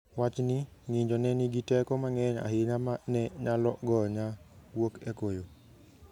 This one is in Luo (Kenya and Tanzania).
"Wach ni 'ng'injo' ne nigi teko mang'eny ahinya ma ne nyalo gonya wuok e koyo.